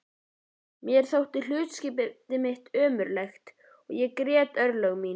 Mér þótti hlutskipti mitt ömurlegt og ég grét örlög mín.